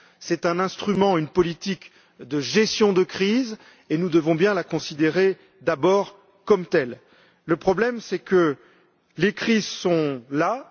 C'est un instrument, une politique de gestion de crise, et nous devons bien la considérer d'abord comme telle. Le problème, c'est que les crises sont là.